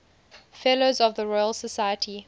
fellows of the royal society